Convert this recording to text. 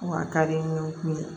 Wa a ka di n ye